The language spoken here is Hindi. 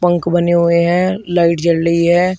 पंख बने हुए हैं लाइट जल रही है।